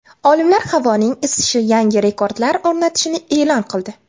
Olimlar havoning isishi yangi rekordlar o‘rnatishini e’lon qildi.